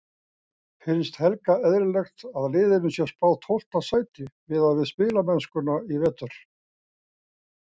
Finnst Helga eðlilegt að liðinu sé spáð tólfta sæti miðað við spilamennskuna í vetur?